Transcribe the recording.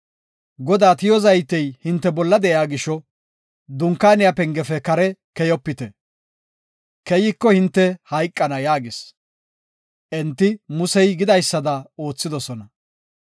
Godaa tiyo zaytey hinte bolla di7iya gisho Dunkaaniya pengefe kare keyopite; keyiko hinte hayqana” yaagis. Enti Musey gidaysada oothidosona.